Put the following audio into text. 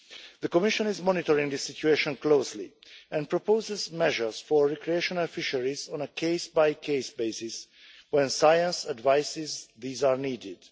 The Commission is monitoring this situation closely and proposes measures for recreational fisheries on a case-by-case basis when science advises that these are needed.